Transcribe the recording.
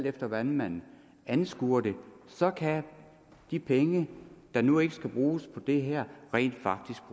af hvordan man anskuer det så kan de penge der nu ikke skal bruges på det her rent faktisk